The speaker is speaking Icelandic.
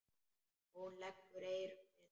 Hún leggur eyrun við.